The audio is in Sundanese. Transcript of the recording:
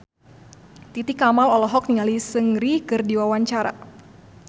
Titi Kamal olohok ningali Seungri keur diwawancara